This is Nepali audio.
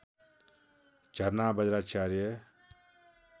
झरना बज्रचार्य